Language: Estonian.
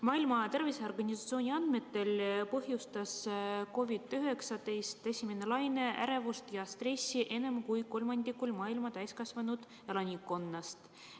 Maailma Terviseorganisatsiooni andmetel põhjustas COVID‑19 esimene laine ärevust ja stressi enam kui kolmandikul maailma täiskasvanud elanikkonnast.